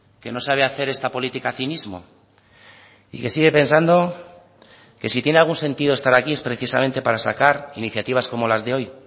que no sabe hacer esta política cinismo y que sigue pensando que si tiene algún sentido estar aquí es precisamente para sacar iniciativas como las de hoy